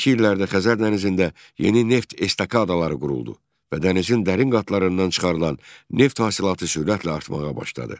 Sonrakı illərdə Xəzər dənizində yeni neft estakadaları quruldu və dənizin dərin qatlarından çıxarılan neft hasilatı sürətlə artmağa başladı.